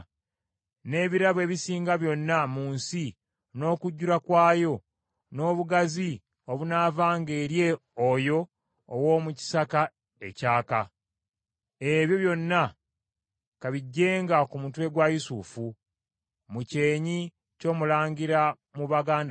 n’ebirabo ebisinga byonna mu nsi n’okujjula kwayo, n’obuganzi obunaavanga eri oyo ow’omu kisaka ekyaka. Ebyo byonna ka bijjenga ku mutwe gwa Yusufu, mu kyenyi ky’omulangira mu baganda be.